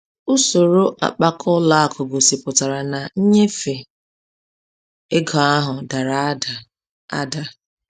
Usoro akpaka ụlọ akụ gosipụtara na nnyefe ego ahụ dara ada. ada.